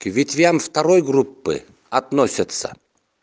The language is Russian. к ветвям второй группы относятся